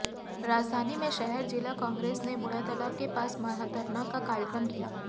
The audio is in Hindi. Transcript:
राजधानी में शहर जिला कांग्रेस ने बूढ़ातालाब के पास महाधरना का कार्यक्रम किया